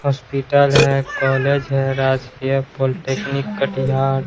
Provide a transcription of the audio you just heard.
Hospital है college है राजकीय पॉलिटेक्निक कटिहार।